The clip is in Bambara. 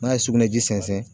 N'a ye sugunɛji sɛnsɛn